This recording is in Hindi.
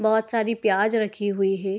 बहुत सारी प्याज रखी हुई है।